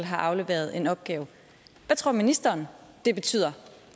har afleveret en opgave hvad tror ministeren det betyder